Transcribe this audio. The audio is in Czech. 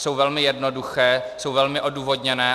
Jsou velmi jednoduché, jsou velmi odůvodněné.